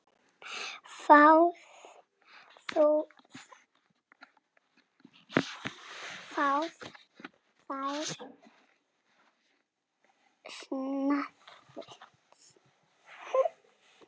Fáðu þér snafs!